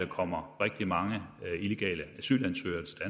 kommer rigtig mange illegale asylansøgere til